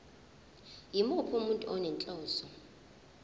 yimuphi umuntu onenhloso